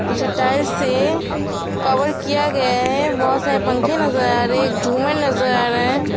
पीछे टाइल्स से कवर किया गया है बहोत सारे पंखे नजर आ रहे हैं एक झूमर नजर आ रहा हैं।